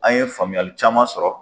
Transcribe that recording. An' ye faamuyali caman sɔrɔ.